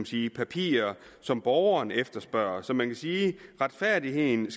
sige papirer som borgerne efterspørger så man kan sige at retfærdigheden